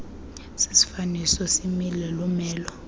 sisifaniso simile lumelo